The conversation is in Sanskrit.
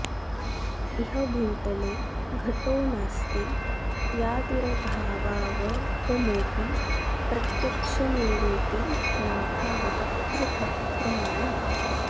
इह भूतले घटो नास्तीत्यादिरभावावगमोऽपि प्रत्यक्षमेवेति नाभावः पृथक् प्रमाणम्